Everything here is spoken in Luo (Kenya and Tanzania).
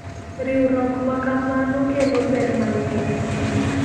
Riwruok ma kamano kelo ber mang'eny.